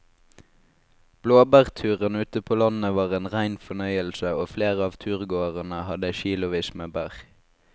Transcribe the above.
Blåbærturen ute på landet var en rein fornøyelse og flere av turgåerene hadde kilosvis med bær.